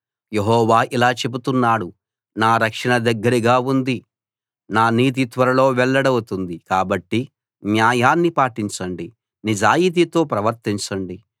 యెహోవా ఇలా చెబుతున్నాడు నా రక్షణ దగ్గరగా ఉంది నా నీతి త్వరలో వెల్లడవుతుంది కాబట్టి న్యాయాన్ని పాటించండి నిజాయితీతో ప్రవర్తించండి